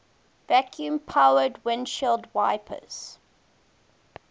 vacuum powered windshield wipers